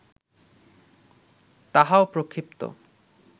তাহাও প্রক্ষিপ্ত